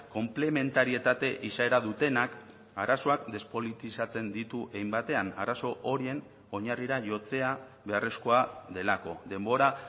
konplementarietate izaera dutenak arazoak despolitizatzen ditu hein batean arazo horien oinarrira jotzea beharrezkoa delako denbora